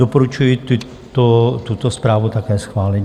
Doporučuji tuto zprávu také schválit.